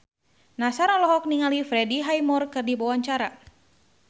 Nassar olohok ningali Freddie Highmore keur diwawancara